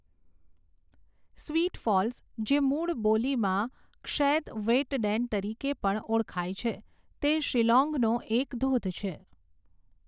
Sweet Falls, જે મૂળ બોલીમાં ક્ષૈદ વેઇટડેન તરીકે પણ ઓળખાય છે, તે શિલોંગનો એક ધોધ છે.